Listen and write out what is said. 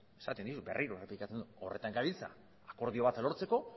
esaten dut berriro errepikatzen dut horretan gabiltza akordio bat lortzeko